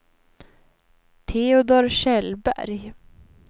Teodor Kjellberg